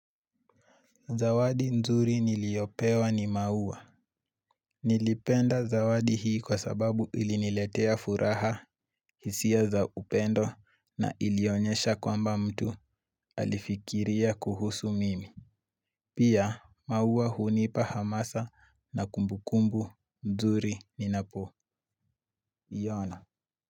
Zawadi nzuri niliyopewa ni maua. Nilipenda zawadi hii kwa sababu iliniletea furaha, hisia za upendo na ilionyesha kwamba mtu alifikiria kuhusu mimi. Pia, maua hunipa hamasa na kumbukumbu nzuri ninapo iona.